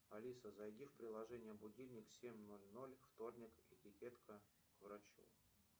алиса зайди в приложение будильник семь ноль ноль вторник этикетка к врачу